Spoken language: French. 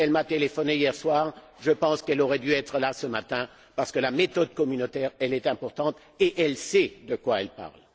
Elle m'a téléphoné hier soir, je pense qu'elle aurait dû être là ce matin parce que la méthode communautaire est importante et elle sait de quoi elle parle.